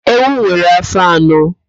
Ewu nwere áfó anọ